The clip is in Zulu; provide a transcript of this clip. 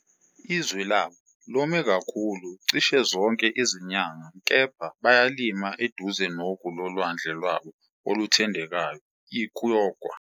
Izwe labo lome kakhulu cishe zonke izinyanga kepha bayalima eduze nogu lolwandle lwabo oluthandekayo iKyoga.